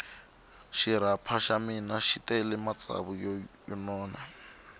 xirapha xa mina xi tele matsavu yo nona